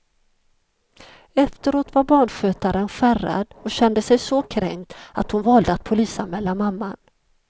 Efteråt var barnskötaren skärrad och kände sig så kränkt att hon valde att polisanmäla mamman.